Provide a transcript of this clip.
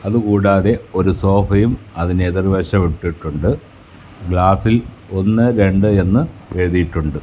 അതുകൂടാതെ ഒരു സോഫയും അതിനെതിർവശം ഇട്ടിട്ടുണ്ട് ഗ്ലാസിൽ ഒന്ന് രണ്ട് എന്ന് എഴുതിയിട്ടുണ്ട്.